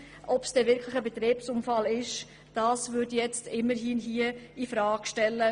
Bei einer solch breiten Abstützung würde ich das zumindest in Frage stellen.